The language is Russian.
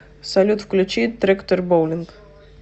салют включи трэктор боулинг